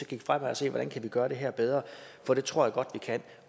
kigge fremad og se hvordan vi kan gøre det her bedre for det tror jeg godt vi kan